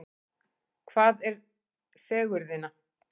Hvað er fegurðin?